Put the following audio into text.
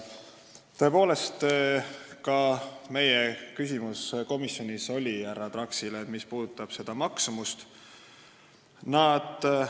Tõepoolest, ka komisjonis oli meil härra Traksile küsimus selle maksumuse kohta.